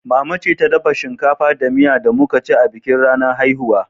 Mama ce ta dafa shinkafa da miya da muka ci a bikin ranar haihuwa.